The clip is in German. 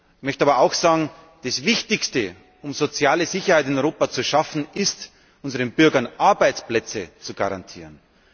Ich möchte aber auch sagen Das Wichtigste, um soziale Sicherheit in Europa zu schaffen, ist, unseren Bürgern Arbeitsplätze zu garantieren.